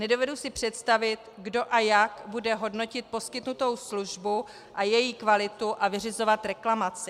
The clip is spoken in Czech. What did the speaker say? Nedovedu si představit, kdo a jak bude hodnotit poskytnutou službu a její kvalitu a vyřizovat reklamaci.